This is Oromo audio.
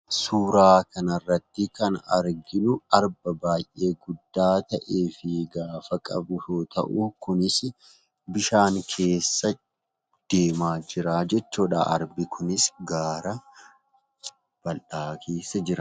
Suuraa kanarratti kan arginu arba baay'ee guddaa ta'ee fi gaafa qabu yoo ta'u kunis bishaan keessa deemaa jira jechuudha. Arbi kunis gaara bal'aa keessa jira.